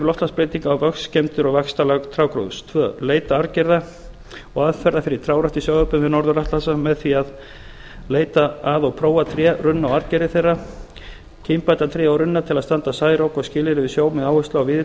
loftslagsbreytinga á vöxt skemmdir og vaxtarlag trjágróðurs annars leita arfgerða og aðferða fyrir trjárækt í sjávarbyggðum við norður atlantshaf með því að a leita að og prófa tré runna og arfgerðir þeirra b kynbæta tré og runna til að standast særok og skilyrði við sjó með áherslu á víðitegundir